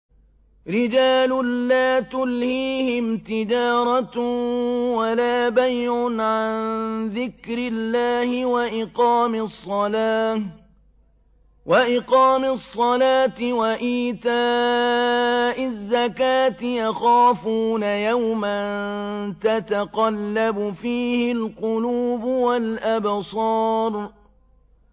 رِجَالٌ لَّا تُلْهِيهِمْ تِجَارَةٌ وَلَا بَيْعٌ عَن ذِكْرِ اللَّهِ وَإِقَامِ الصَّلَاةِ وَإِيتَاءِ الزَّكَاةِ ۙ يَخَافُونَ يَوْمًا تَتَقَلَّبُ فِيهِ الْقُلُوبُ وَالْأَبْصَارُ